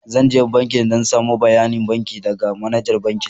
Zan je banki dan samo bayanin banki daga manajar bankin.